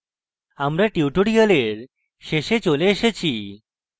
আমরা tutorial শেষে চলে এসেছি